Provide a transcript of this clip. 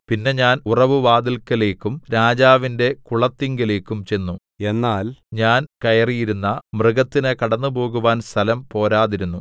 പിന്നെ ഞാൻ ഉറവുവാതില്ക്കലേയ്ക്കും രാജാവിന്റെ കുളത്തിങ്കലേക്കും ചെന്നു എന്നാൽ ഞാൻ കയറിയിരുന്ന മൃഗത്തിന് കടന്നുപോകുവാൻ സ്ഥലം പോരാതിരുന്നു